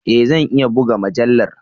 E! Zan iya buga mujallar.